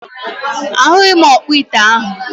A hughi m okpo ite ahu.